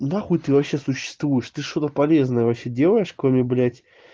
нахуй ты вообще существуешь ты что-то полезное вообще делаешь кроме блять